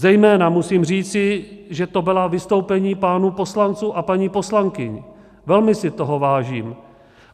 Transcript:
Zejména musím říci, že to byla vystoupení pánů poslanců a paní poslankyň, velmi si toho vážím.